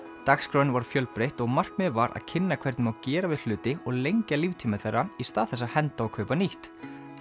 dagskráin var fjölbreytt og markmiðið var að kynna hvernig má gera við hluti og lengja líftíma þeirra í stað þess að henda og kaupa nýtt